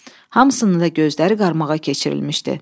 Hamısının da gözləri qarmağa keçirilmişdi.